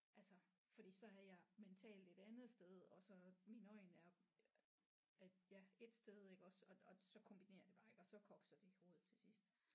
Altså fordi så er jeg mentalt et andet sted og så mine øjne er at ja et sted iggås og og så kombinerer det bare ikke og så kokser det i hovedet til sidst